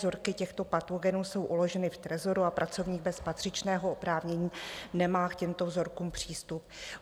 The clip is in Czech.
Vzorky těchto patogenů jsou uloženy v trezoru a pracovník bez patřičného oprávnění nemá k těmto vzorkům přístup.